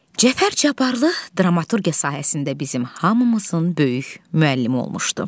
Cəfər Cabbarlı dramaturqiya sahəsində bizim hamımızın böyük müəllimi olmuşdu.